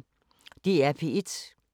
DR P1